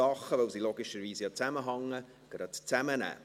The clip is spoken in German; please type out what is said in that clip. Weil sie logischerweise zusammenhängen, nehme ich sie zusammen.